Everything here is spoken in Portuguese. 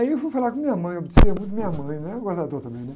Aí eu fui falar com minha mãe, eu obedecia muito de minha mãe, né? também, né?